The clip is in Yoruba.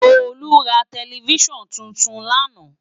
Tolu rá tèlèfisán tútún làná